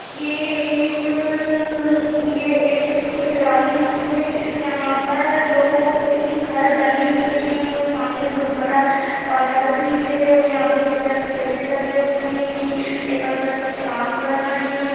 ये एक-क-क-क ये एक ग्राउन्ड है यहाँ पर दो तीन घर बने हुए हैं और सामने बहोत बड़ा पहाड़ भी है और यहाँ पर बहोत सारे पेड़ भी लगे हुए हैं एक अंकल कुछ काम कर रहे हैं।